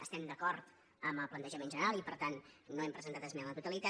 estem d’acord amb el plantejament general i per tant no hem presentat esmena a la totalitat